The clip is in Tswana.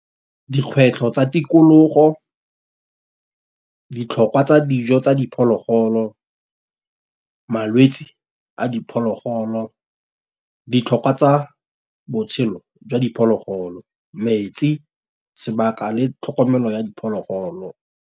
Dikgwetlho tsa tikologo, ditlhokwa tsa dijo tsa diphologolo, malwetsi a diphologolo, ditlhokwa tsa botshelo jwa diphologolo, metsi sebaka le tlhokomelo ya diphologolo.